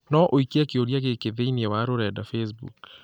no ũikie kĩũria gĩkĩ thĩinĩ wa rũrenda facebook